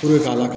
ka la